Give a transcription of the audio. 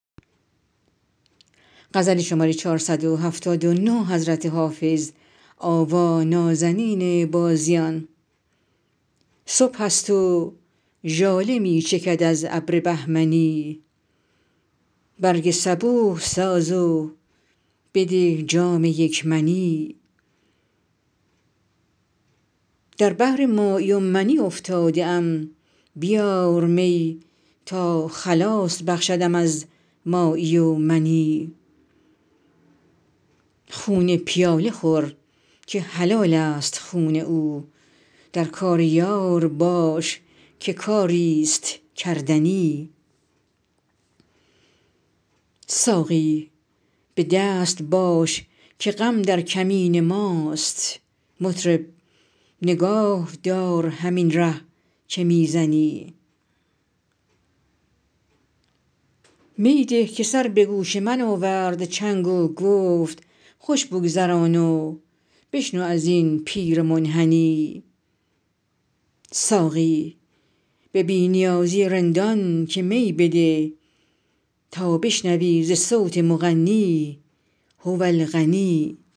صبح است و ژاله می چکد از ابر بهمنی برگ صبوح ساز و بده جام یک منی در بحر مایی و منی افتاده ام بیار می تا خلاص بخشدم از مایی و منی خون پیاله خور که حلال است خون او در کار یار باش که کاری ست کردنی ساقی به دست باش که غم در کمین ماست مطرب نگاه دار همین ره که می زنی می ده که سر به گوش من آورد چنگ و گفت خوش بگذران و بشنو از این پیر منحنی ساقی به بی نیازی رندان که می بده تا بشنوی ز صوت مغنی هو الغنی